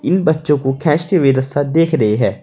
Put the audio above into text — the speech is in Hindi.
इन बच्चों को देख रही है।